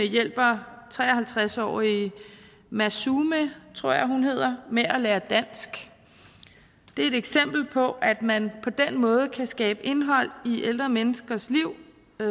hjælper tre og halvtreds årige massoumeh tror jeg hun hedder med at lære dansk det er et eksempel på at man på den måde kan skabe indhold i ældre menneskers liv